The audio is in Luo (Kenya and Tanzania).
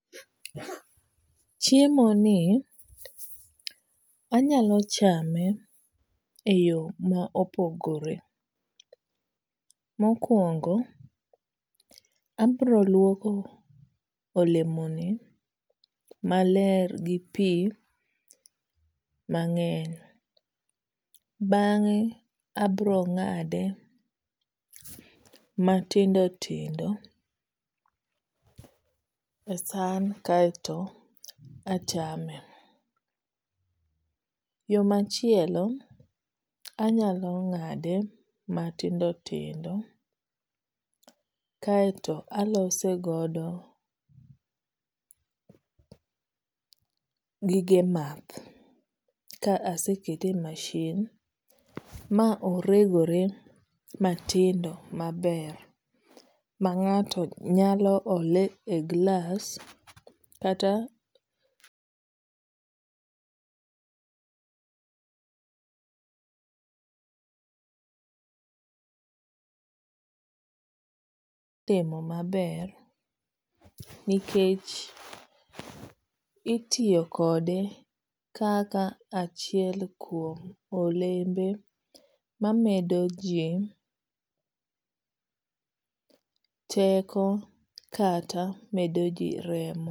Chiemo ni anyalo chame eyo ma opogore. Mokwongo, abiro luoko olemo ni maler gi pi mang'eny. Bang'e abiro ng'ade matindo tindo e san kaeto achame. Yo machielo anyalo ng'ade matindo tindo kaeto aloso godo gige math ka asekete e masin ma oregore matindo maber ma ng'ato nyalo ole e glass kata timo maber nikech itiyo kode kaka achiel kuom olembe mamedo ji teko kata medo ji remo.